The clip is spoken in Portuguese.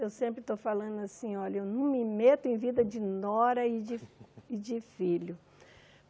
Eu sempre estou falando assim, olha, eu não me meto em vida de nora e de e de filho.